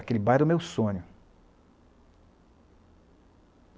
Aquele bar era o meu sonho.